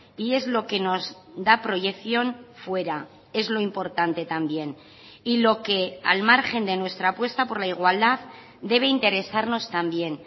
y es lo que nos da proyección fuera es lo importante también y lo que al margen de nuestra apuesta por la igualdad debe interesarnos también